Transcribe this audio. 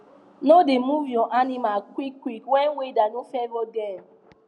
no da move your animals quick quick when weather no favour dem